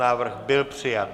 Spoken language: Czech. Návrh byl přijat.